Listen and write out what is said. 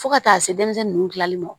Fo ka taa se denmisɛnnin ninnu kilali ma